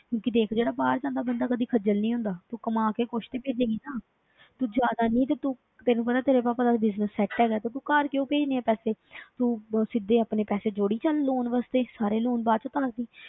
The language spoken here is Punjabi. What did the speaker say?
ਕਿਉਂਕਿ ਦੇਖ ਜਿਹੜਾ ਬਾਹਰ ਜਾਂਦਾ ਬੰਦਾ ਕਦੇ ਖੱਝਲ ਨੀ ਹੁੰਦਾ, ਤੂੰ ਕਮਾ ਕੇ ਕੁਛ ਤੇ ਭੇਜੇਂਗੀ ਨਾ ਤੂੰ ਜ਼ਿਆਦਾ ਨੀ ਤੇ ਤੂੰ ਤੈਨੂੰ ਪਤਾ ਤੇਰੇ ਪਾਪਾ ਦਾ business set ਹੈਗਾ ਤੇ ਤੂੰ ਘਰ ਕਿਉਂ ਭੇਜਣੇ ਹੈ ਪੈਸੇ ਤੂੰ ਸਿੱਧੇ ਆਪਣੇ ਪੈਸੇ ਜੋੜੀ ਚੱਲ loan ਵਾਸਤੇ ਸਾਰੇ loan ਬਾਅਦ ਵਿੱਚ ਉਤਾਰ ਦੇਈਂ।